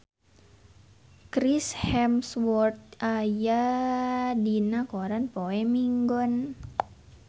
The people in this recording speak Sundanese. Chris Hemsworth aya dina koran poe Minggon